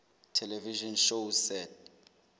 television shows set